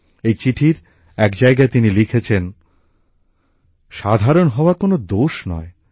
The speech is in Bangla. এই চিঠির এক জায়গায় তিনি লিখেছেন সাধারণ হওয়া কোনো দোষ নয়